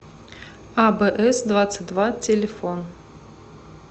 абээсдвадцатьдва телефон